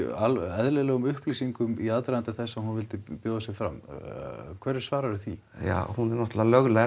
eðlilegum upplýsingum í aðdraganda þess að hún vildi bjóða sig fram hverju svararðu því ja hún er náttúrulega löglærð